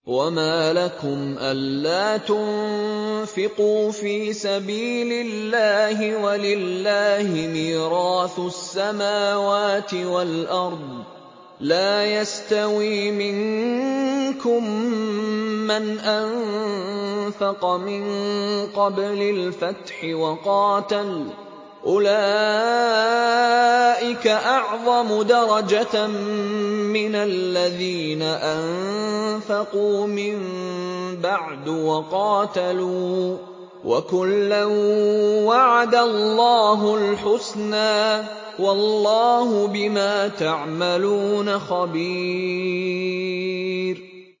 وَمَا لَكُمْ أَلَّا تُنفِقُوا فِي سَبِيلِ اللَّهِ وَلِلَّهِ مِيرَاثُ السَّمَاوَاتِ وَالْأَرْضِ ۚ لَا يَسْتَوِي مِنكُم مَّنْ أَنفَقَ مِن قَبْلِ الْفَتْحِ وَقَاتَلَ ۚ أُولَٰئِكَ أَعْظَمُ دَرَجَةً مِّنَ الَّذِينَ أَنفَقُوا مِن بَعْدُ وَقَاتَلُوا ۚ وَكُلًّا وَعَدَ اللَّهُ الْحُسْنَىٰ ۚ وَاللَّهُ بِمَا تَعْمَلُونَ خَبِيرٌ